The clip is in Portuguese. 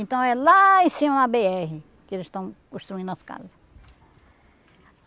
Então, é lá em cima da bê erre que eles estão construindo as casas.